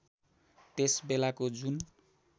त्यस बेलाको जुन